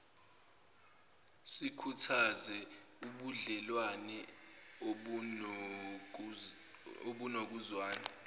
sikhuthaze ubudlewane obunokuzwana